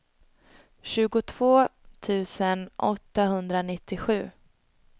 tjugotvå tusen åttahundranittiosju